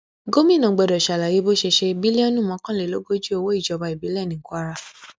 gomina gbọdọ ṣàlàyé bó ṣe ṣe bílíọnù mọkànlélógójì owó ìjọba ìbílẹ ní kwara